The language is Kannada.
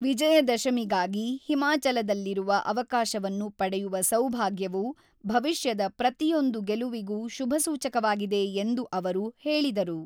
ವಿಜಯ ದಶಮಿಗಾಗಿ ಹಿಮಾಚಲದಲ್ಲಿರುವ ಅವಕಾಶವನ್ನು ಪಡೆಯುವ ಸೌಭಾಗ್ಯವು ಭವಿಷ್ಯದ ಪ್ರತಿಯೊಂದು ಗೆಲುವಿಗೂ ಶುಭಸೂಚಕವಾಗಿದೆ ಎಂದು ಅವರು ಹೇಳಿದರು.